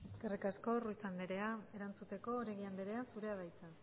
eskerrik asko ruiz anderea erantzuteko oregi anderea zurea da hitza